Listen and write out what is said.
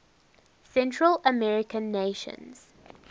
central american nations